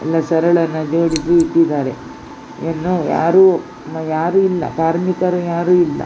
ಎಲ್ಲ ಸರಳನ್ನು ಜೋಡಿಸಿ ಇಟ್ಟಿದ್ದಾರೆ ಇನ್ನು ಯಾರು ಇಲ್ಲ ಕಾರ್ಮಿಕರು ಯಾರು ಇಲ್ಲ.